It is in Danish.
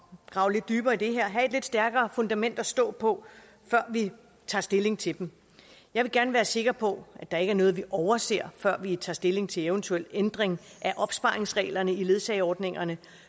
grave lidt dybere i det her og have et lidt stærkere fundament at stå på før vi tager stilling til dem jeg vil gerne være sikker på at der ikke er noget vi overser før vi tager stilling til en eventuel ændring af opsparingsreglerne i ledsageordningerne